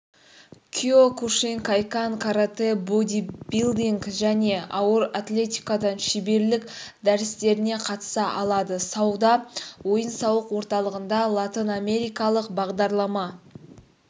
киокушинкай-кан каратэ бодибилдинг және ауыр атлетикадан шеберлік дәрістеріне қатыса алады сауда ойын-сауық орталығында латынамерикалық бағдарлама